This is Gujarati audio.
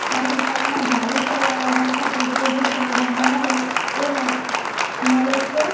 આ દુકાનમાં ગાડી ચલાવવા વખતે જે જે પહેરવામાં આવે તે લક મલે છે.